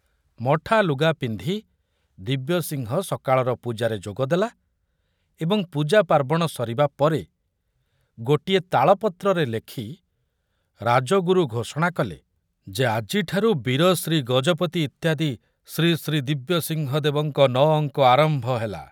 ମଠା ଲୁଗା ପିନ୍ଧି ଦିବ୍ୟସିଂହ ସକାଳର ପୂଜାରେ ଯୋଗଦେଲା ଏବଂ ପୂଜା ପାର୍ବଣ ସରିବା ପରେ ଗୋଟିଏ ତାଳପତ୍ରରେ ଲେଖି ରାଜଗୁରୁ ଘୋଷଣା କଲେ ଯେ ଆଜିଠାରୁ ବୀରଶ୍ରୀ ଗଜପତି ଇତ୍ୟାଦି ଶ୍ରୀଶ୍ରୀ ଦିବ୍ୟସିଂହ ଦେବଙ୍କ ନ ଅଙ୍କ ଆରମ୍ଭ ହେଲା।